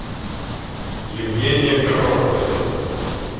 евгения коровкина